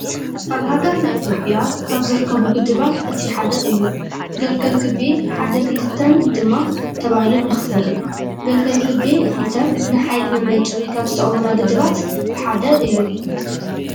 ኣብ ሃገርና ኢትዮጵየ ካብ ዝርከቡ ግድባት እቲ ሓደ እዩ። ገልገል ግቤ ሓደን ክልተን ድማ ተባሂሎም ይኽፈሉ። ግልገል ግቤ 2 ንሓይሊ መመንጨዊ ካብ ዝጠቅሙና ግድባት ሓደ እዩ።